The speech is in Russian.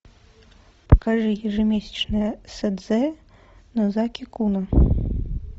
покажи ежемесячное седзе нозаки куна